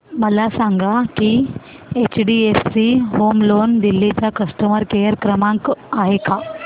मला सांगा की एचडीएफसी होम लोन दिल्ली चा कस्टमर केयर क्रमांक आहे का